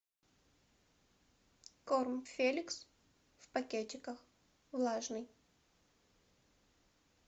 корм феликс в пакетиках влажный